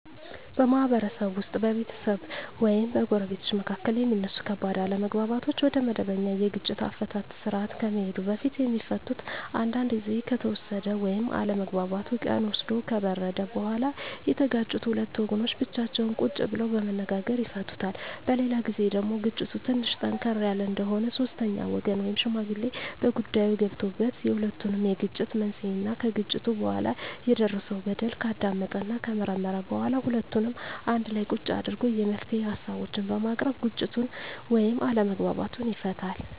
በማህበረሰብ ውስጥ በቤተሰብ ወይም በጎረቤቶች መካከል የሚነሱ ከባድ አለመግባባቶች ወደመበኛ የግጭት አፈታት ስርአት ከመሄዱ በፊት የሚፈቱት አንዳንዱ ግዜ ከተወሰደ ወይም አለመግባባቱ ቀን ወስዶ ከበረደ በኋላ የተጋጩት ሁለት ወገኖች ብቻቸውን ቁጭ ብለው በመነጋገር ይፈቱታል። በሌላ ግዜ ደግሞ ግጭቱ ትንሽ ጠንከር ያለ እንደሆነ ሶስተኛ ወገን ወይም ሽማግሌ በጉዳይዮ ገብቶበት የሁለቱንም የግጭት መንሴና ከግጭቱ በኋላ የደረሰው በደል ካዳመጠና ከመረመረ በኋላ ሁለቱንም አንድላ ቁጭ አድርጎ የመፍትሄ ሀሳቦችን በማቅረብ ግጭቱን ወይም አለመግባባቱን ይፈታል።